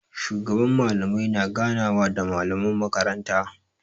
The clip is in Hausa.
Shugaban Mallamai na ganawa da malaman makaranta.